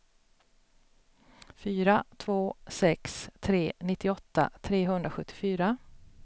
fyra två sex tre nittioåtta trehundrasjuttiofyra